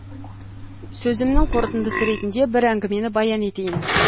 сөзімнің қорытындысы ретінде бір әңгімені баян етейін